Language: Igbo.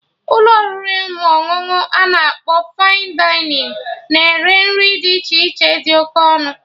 Ụlọ oriri ma ọṅụṅụ ana akpọ 'Fine Dining' na-ere nri dị iche iche dị oké ọnụ